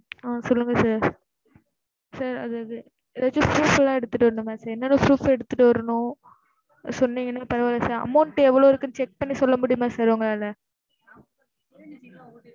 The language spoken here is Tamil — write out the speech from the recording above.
ஆஹ் சொல்லுங்க sir sir அதாவது registers லா எடுத்துட்டு வரணுமா sir என்ன என்ன proof எடுத்துட்டு வரணும்? சொன்னிங்கனா பரவால sir amount எவ்வளோ இருக்குன்னு check பண்ணி சொல்ல முடியுமா sir உங்களால?